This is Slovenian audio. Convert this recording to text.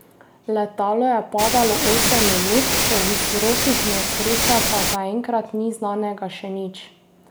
Letalo je padalo osem minut, o vzrokih nesreče pa zaenkrat ni znanega še nič.